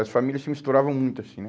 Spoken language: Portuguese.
As famílias se misturavam muito assim, né?